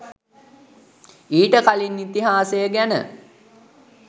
ඊට කලින් ඉතිහාසය ගැන